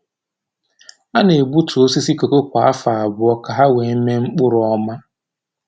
A na-egbutu osisi kooko kwa afọ abụọ ka ha wee mee mkpụrụ ọma.